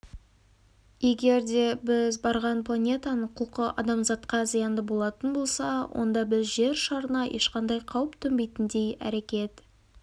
егер де біз барған планетаның құлқы адамзатқа зиянды болатын болса онда біз жер шарына ешқандай қауіп төнбейтіндей әрекет